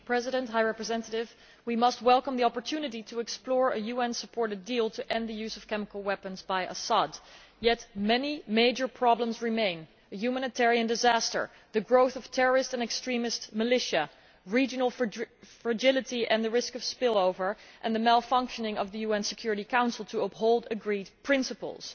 Mr President, we must welcome the opportunity to explore a UN supported deal to end the use of chemical weapons by Assad, yet many major problems remain a humanitarian disaster, the growth of terrorist and extremist militia, regional fragility and the risk of spillover and the malfunctioning of the UN Security Council to uphold agreed principles.